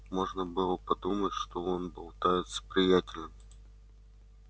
можно было подумать что он болтает с приятелем